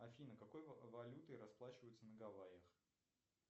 афина какой валютой расплачиваются на гавайях